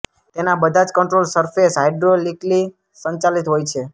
તેના બધા જ કન્ટ્રોલ સરફેસ હાઇડ્રોલિકલી સંચાલિત હોય છે